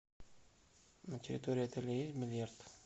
на территории отеля есть бильярд